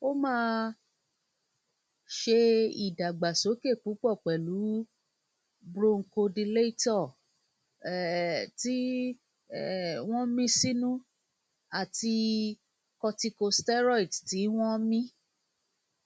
o máa ṣe ìdàgbàsókè púpọ pẹlú bronchodilator um tí um wọn mí sínú àti corticosteroids tí wọn mí